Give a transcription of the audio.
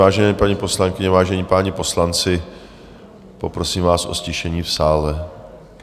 Vážené paní poslankyně, vážení páni poslanci, poprosím vás o ztišení v sále.